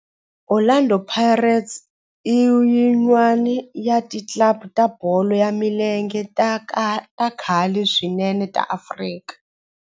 Orlando Pirates i yin'wana ya ti club ta bolo ya milenge ta khale swinene ta Afrika